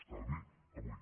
estalvi avui